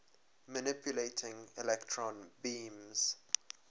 manipulating electron beams